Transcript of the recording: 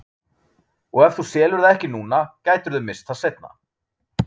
Og ef þú selur það ekki núna gætirðu misst það seinna.